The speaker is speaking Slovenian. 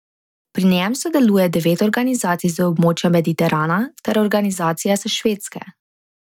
Pri njem sodeluje devet organizacij z območja Mediterana ter organizacija s Švedske.